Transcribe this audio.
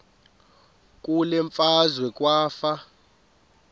kule meazwe kwafa